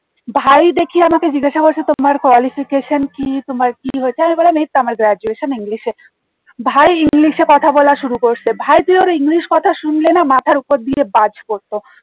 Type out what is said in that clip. ভাই দেখি আমাকে জিজ্ঞাসা করছে তোমার qualification কি তোমার কি হয়েছে আমি বললাম এই তো আমার graduation english এ ভাই english এ কথা বলা শুরু করেছে ভাই তুই ওর english কথা শুনলে না মাথার ওপর দিয়ে বাজ পড়ত